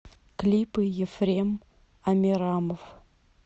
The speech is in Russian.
клипы ефрем амирамов